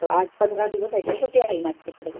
आठ पंधरा दिवस ऍडमिट होती आई माझी तिकडं.